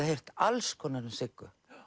heyrt alls konar um Siggu